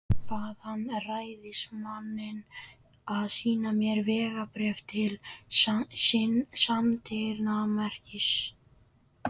Bað hann ræðismanninn að sýna sér vegabréf til sannindamerkis.